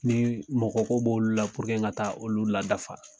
Ni mɔgɔko b'olu la n ka taa olu ladafafa.